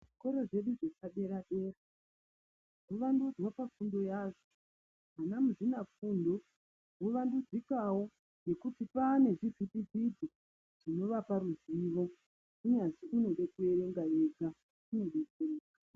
Zvikoro zvedu zvepadera dera zvovandudzwa pafundo yazvo. Vana muzvinafundo vovandudzikawo ngekuti kwaa ngezvivhitivhiti zvinovapa ruzivo unyari uchiverenga wega.